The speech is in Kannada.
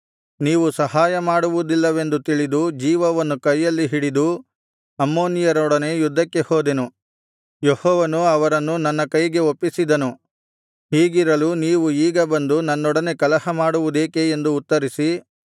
ನೀವು ಸಹಾಯಮಾಡುವುದಿಲ್ಲವೆಂದು ತಿಳಿದು ಜೀವವನ್ನು ಕೈಯಲ್ಲಿ ಹಿಡಿದು ಅಮ್ಮೋನಿಯರೊಡನೆ ಯುದ್ಧಕ್ಕೆ ಹೋದೆನು ಯೆಹೋವನು ಅವರನ್ನು ನನ್ನ ಕೈಗೆ ಒಪ್ಪಿಸಿದನು ಹೀಗಿರಲು ನೀವು ಈಗ ಬಂದು ನನ್ನೊಡನೆ ಕಲಹಮಾಡುವುದೇಕೆ ಎಂದು ಉತ್ತರಿಸಿ